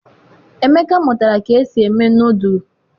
emeka mụtara ka esi eme nọdụlụ.